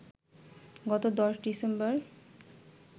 গত ১০ ডিসেম্বর